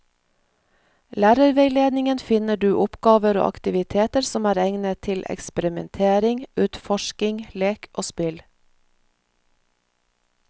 Lærerveiledningen finner du oppgaver og aktiviteter som er egnet til eksperimentering, utforsking, lek og spill.